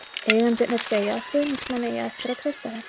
Eigendurnir segja að stuðningsmenn eigi að treysta þeim.